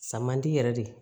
San man di yɛrɛ de